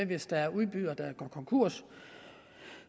hvis der er udbydere der går konkurs